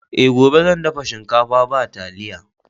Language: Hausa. E, gobe zan dafa shinkafa ba taliya.